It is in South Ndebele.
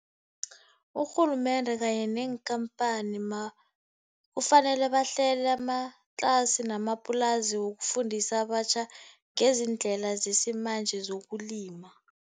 Urhulumende kanye neenkhamphani kufanele bahlele amatlasi namaplasi wokufundisa abatjha ngezindlela zesimanje zokulima.